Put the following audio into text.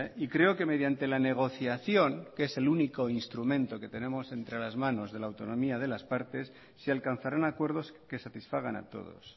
y creo que mediante la negociación que es el único instrumento que tenemos entre las manos de la autonomía de las partes se alcanzarán acuerdos que satisfagan a todos